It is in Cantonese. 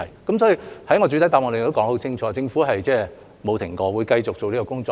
所以，在我的主體答覆中說得很清楚，政府沒有停止過，會繼續做這個工作。